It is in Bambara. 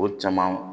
O caman